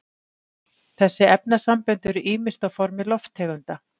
þessi efnasambönd eru ýmist á formi lofttegunda